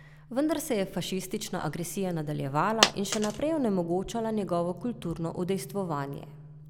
Vendar se je fašistična agresija nadaljevala in še naprej onemogočala njegovo kulturno udejstvovanje.